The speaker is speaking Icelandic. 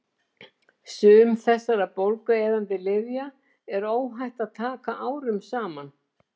Sum þessara bólgueyðandi lyfja er óhætt að taka árum saman.